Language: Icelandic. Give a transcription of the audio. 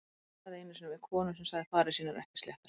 Ég rabbaði einu sinni við konu sem sagði farir sínar ekki sléttar.